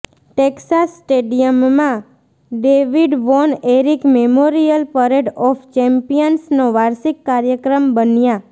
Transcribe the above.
Texas સ્ટેડિયમમાં David Von Erich memorial parade of ચેમ્પિયન્સનો વાર્ષિક કાર્યક્રમ બન્યા